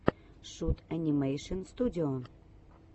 шут анимэйшн студио